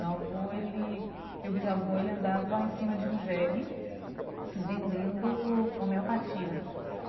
Meu avô ele, meu bisavô, ele andava em cima de um jegue vendendo homeopatia.